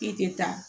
E tɛ taa